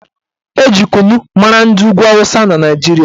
Eji kunu mara ndị ugwu awụsa na Naijiria